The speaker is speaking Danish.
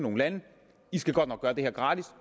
land i skal godt nok gøre det her gratis